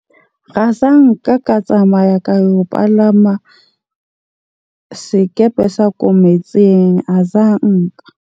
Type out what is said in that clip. Ra zanka ka tsamaya ka yo palama sekepe sa ko metsing azanka.